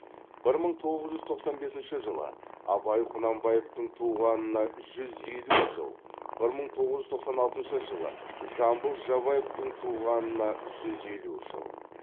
бір мың тоғыз жүз тоқсан бесінші жылы абай құнанбаевтың туғанына жүз елу жыл бір мың тоғыз жүз тоқсан алтыншы жылы жамбыл жабаевтың туғанына жүз елу жыл